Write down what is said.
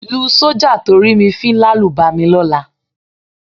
Lu sọ́jà tó rí mi fín lálùbami lọ́la.